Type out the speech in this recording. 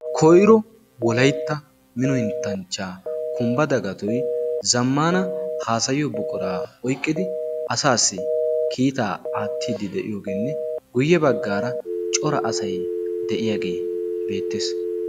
koyro wolaytta mino henttanchchaa kumbba dagatoy zammana haasayiyo buquraa oyqqidi asaassi kiitaa aattiiddi de7iyoogeenne guyye baggaara cora asai de'iyaagee beettees